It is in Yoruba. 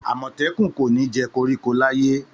Àmọ̀tẹ́kùn kò ní jẹ koríko láyé